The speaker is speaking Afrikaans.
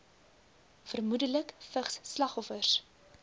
vermoedelik vigs slagoffers